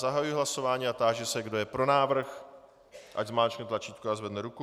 Zahajuji hlasování a táži se, kdo je pro návrh, ať zmáčkne tlačítko a zvedne ruku.